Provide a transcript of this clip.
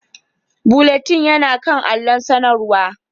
Bulletin yana kan allon sanarwa